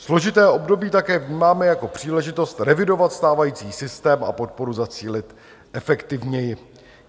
Složité období také vnímáme jako příležitost revidovat stávající systém a podporu zacílit efektivněji.